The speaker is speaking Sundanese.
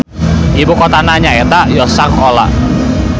Ibu kotana nya eta Yoshkar-Ola.